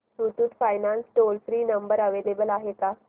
Muthoot finance चा toll free number available आहे का